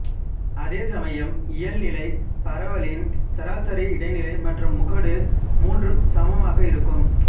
அதேசமயம் இயல்நிலைப் பரவலின் சராசரி இடைநிலை மற்றும் முகடு மூன்றும் சமமாக இருக்கும்